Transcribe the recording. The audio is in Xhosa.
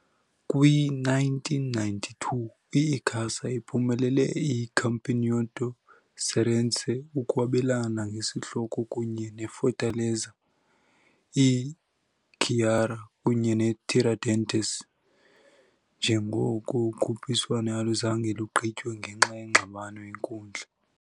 Kwi-1992, i-Icasa iphumelele i- Campeonato Cearense, ukwabelana ngesihloko kunye ne -Fortaleza, i-Ceará, kunye ne-Tiradentes, njengoko ukhuphiswano aluzange lugqitywe ngenxa yengxabano yenkundla.